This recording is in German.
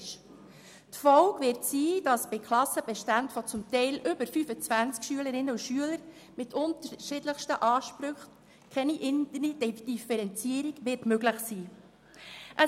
Das hat zur Folge, dass in Klassen mit mehr als 25 Schülerinnen und Schülern keine Differenzierung mehr möglich sein wird.